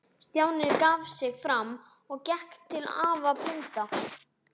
Stjáni gaf sig fram og gekk til afa blinda.